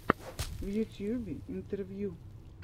в ютьюбе интервью